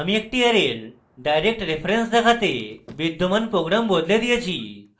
আমি একটি অ্যারের direct reference দেখাতে বিদ্যমান program বদলে দিয়েছি